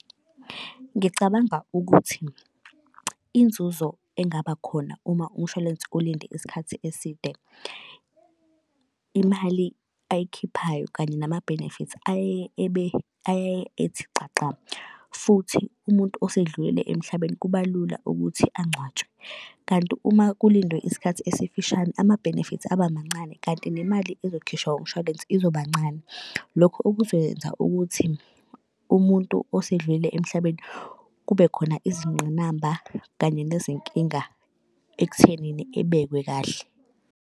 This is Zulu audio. Ngicabanga ukuthi inzuzo engaba khona uma umshwalense ulinde isikhathi eside, imali ayikhiphayo kanye nama-benefits ayeye ebe ayeye ethi xaxa futhi umuntu osedlulile emhlabeni kuba lula ukuthi angcwatshwe. Kanti uma kulindwe isikhathi esifishane, ama-benefits abamancane kanti nemali ezokhishwa umshwalense izoba ncane. Lokho okuzokwenza ukuthi umuntu osedlulile emhlabeni kube khona izingqinamba kanye nezinkinga ekuthenini ebekwe kahle.